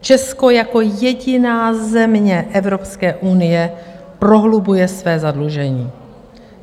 Česko jako jediná země Evropské unie prohlubuje své zadlužení.